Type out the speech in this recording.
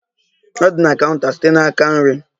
Ọ dị na counta site n'aka nri.